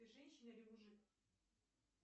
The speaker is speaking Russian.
ты женщина или мужик